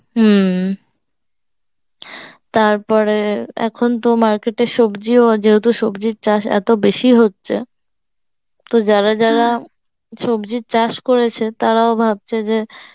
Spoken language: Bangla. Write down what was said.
হম তারপরে এখন তো market এ সবজিও যেহেতু সবজির চাষ এত বেশি হচ্ছে, তো যারা সবজির চাষ করেছে তারাও ভাবছে যে